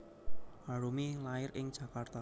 Arumi lair ing Jakarta